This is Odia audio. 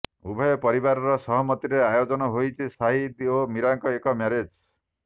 ଉଭୟ ପରିବାରର ସହମତିରେ ଆୟୋଜନ ହେଇଛି ସାହିଦ ଓ ମୀରାଙ୍କ ଏହି ମ୍ୟାରେଜ